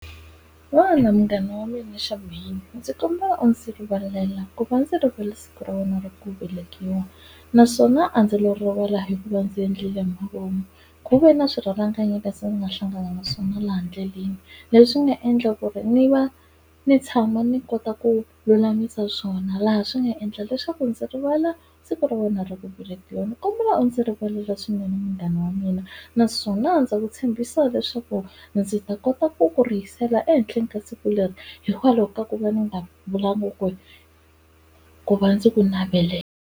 Vona munghana wa mina Chamaine ndzi kombela u ndzi rivalela ku va ndzi rivale siku ra wena ra ku velekiwa, naswona a ndzi lo rivala hi ku va ndzi endlile hi mavomu. Ku ve na swirhalanganyi leswi ni nga hlangana na swona laha ndleleni, leswi nga endla ku ri ni va ni tshama ni kota ku lulamisa swona laha swi nga endla leswaku ndzi rivala siku ra wena ra ku velekiwa. Ndzi kombela u ndzi rivalela swinene munghana wa mina. Naswona ndza ku tshembisa leswaku ndzi ta kota ku ku rihisela ehenhleni ka siku leri hikwalaho ka ku va ni nga vulangi ku ri ku va ndzi ku navelela.